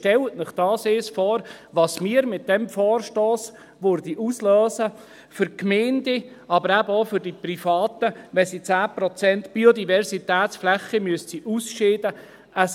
Stellen Sie sich das einmal vor, was wir mit diesem Vorstoss auslösen würden für die Gemeinden, aber eben auch für die Privaten, wenn sie 10 Prozent Biodiversitätsflächen ausscheiden müssten.